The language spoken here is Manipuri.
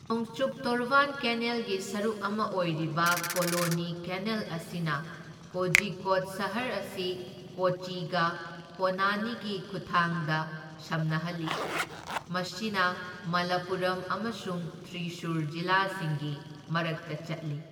ꯅꯣꯡꯆꯨꯞ ꯇꯣꯔꯕꯥꯟ ꯀꯦꯅꯦꯜꯒꯤ ꯁꯔꯨꯛ ꯑꯃ ꯑꯣꯏꯔꯤꯕ ꯀꯣꯅꯣꯂꯤ ꯀꯦꯅꯦꯜ ꯑꯁꯤꯅ ꯀꯣꯓꯤꯀꯣꯗ ꯁꯍꯔ ꯑꯁꯤ ꯀꯣꯆꯤꯒ ꯄꯣꯟꯅꯅꯤꯒꯤ ꯈꯨꯠꯊꯥꯡꯗ ꯁꯝꯅꯍꯜꯂꯤ, ꯃꯁꯤꯅ ꯃꯂꯄꯨꯔꯝ ꯑꯃꯁꯨꯡ ꯊ꯭ꯔꯤꯁꯨꯔ ꯖꯤꯂꯥꯁꯤꯡꯒꯤ ꯃꯔꯛꯇ ꯆꯠꯂꯤ꯫